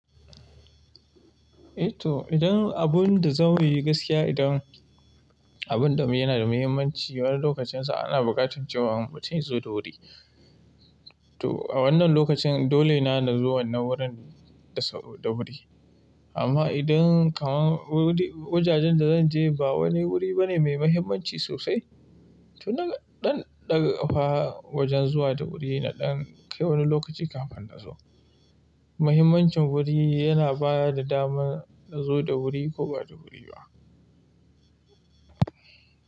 Eh toh idan abun da zau yi gaskiya, idan abun da muyi yana da muhimmanci wani lokacinsa ana buƙatar cewa mutum ya zo da wuri. To a wannan lokacin dole na na zo wannan wurin da wuri. Amma idan kaman wajajen da zan je ba wani wuri bane mai mahimmanci sosai, toh nan ɗan daga fawa wajen zuwa da wuri na ɗan kai wani lokaci kafin na zo. Muhimmancin wuri yana ba da dama na zo da wuri ko ba da wuri ba.